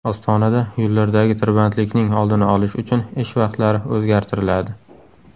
Ostonada yo‘llardagi tirbandlikning oldini olish uchun ish vaqtlari o‘zgartiriladi.